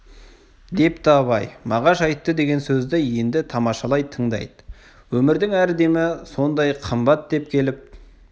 депті абай мағаш айтты деген сөзді енді тамашалай тыңдайды өмірдің әр демі сондай қымбат деп келіп